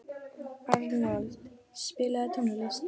Arnold, spilaðu tónlist.